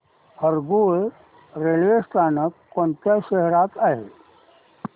Harangul railway स्थानक कोणत्या शहरात आहे